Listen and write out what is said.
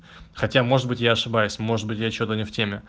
хотя может быть я ошибаюсь может быть я что-то не в теме